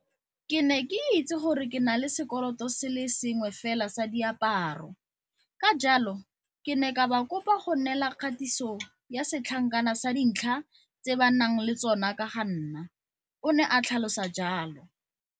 Ke ne ke itse gore ke na le sekoloto se le sengwe fela sa diaparo, ka jalo ke ne ka ba kopa go nnela kgatiso ya setlankana sa dintlha tse ba nang le tsona ka ga nna, o ne a tlhalosa jalo.